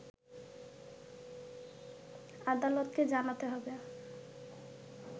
আদালতকে জানাতে হবে